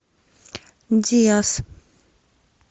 диас